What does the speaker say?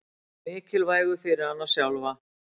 Og mikilvægu fyrir hana sjálfa.